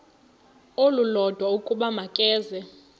olulodwa ukuba makeze